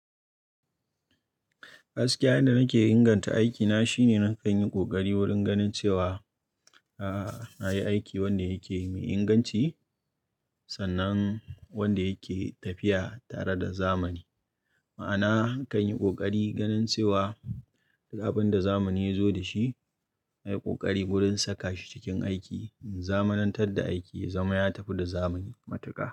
Gaskiya yanda nake inganta aikina shine na kan yi ƙoƙari wurin ganin cewa, ah, na yi aiki wanda yake mai inganci sannan wanda yake tafiya tare da zamani. Ma'ana kan yi ƙoƙari ganin cewa duk abin da zamani ya zo da shi, na yi ƙoƙari wurin saka shi cikin aiki. In zamanan tad da aiki, zama ya tafi da zamani matuƙa.